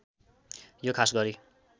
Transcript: यो खास गरी